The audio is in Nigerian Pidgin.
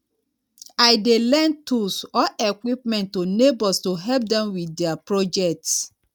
i dey lend tools or equipment to neighbors to help dem with diy projects